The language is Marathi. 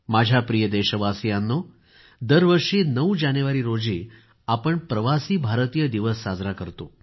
माझ्या प्रिय देशवासियांनो दरवर्षी 9 जानेवारी रोजी आपण प्रवासी भारतीय दिवस साजरा करतो